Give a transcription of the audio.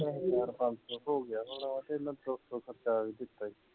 ਇਹਨਾਂ ਕੋਲ ਪੰਜ ਸੌ ਹੋ ਗਿਆ ਹੋਣਾ ਤੇ ਇਨ੍ਹਾਂ ਨੇ ਦੋ ਸੌ ਖਰਚਾ ਵੀ ਦਿੱਤਾ ਹੀ